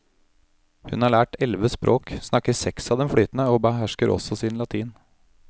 Hun har lært elleve språk, snakker seks av dem flytende og behersker også sin latin.